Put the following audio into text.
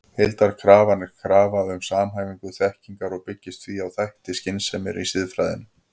Heildarkrafan er krafa um samhæfingu þekkingar og byggist því á þætti skynseminnar í siðfræðinni.